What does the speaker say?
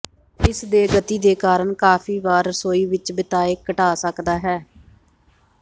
ਇਸ ਦੇ ਗਤੀ ਦੇ ਕਾਰਨ ਕਾਫ਼ੀ ਵਾਰ ਰਸੋਈ ਵਿੱਚ ਬਿਤਾਏ ਘਟਾ ਸਕਦਾ ਹੈ